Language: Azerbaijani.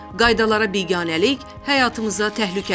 Qaydalara biganəlik həyatımıza təhlükədir.